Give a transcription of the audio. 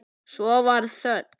Svo varð þögn.